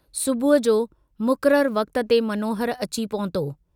सुबुह जो मुकररु वक्त ते मनोहर अची पहुतो।